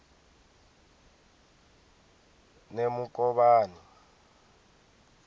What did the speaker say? nemukovhani